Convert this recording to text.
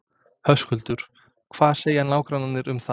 Höskuldur: Hvað segja nágrannarnir um það?